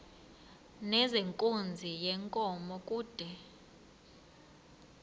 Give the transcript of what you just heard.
nezenkunzi yenkomo kude